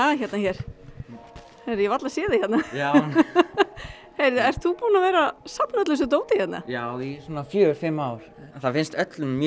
hérna hér ég varla sé þig hérna ert þú búinn að vera safna öllu þessu dóti hérna já í fjögur fimm ár það finnst öllum mjög